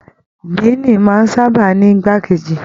Diini máa n sábà ní igbà keji.